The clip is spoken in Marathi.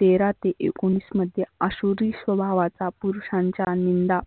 तेरा ते एकोनीस मध्ये आसुरी स्वभावाचा पुरुषांच्या निंदा